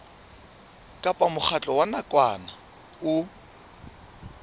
kapa mokgatlo wa nakwana o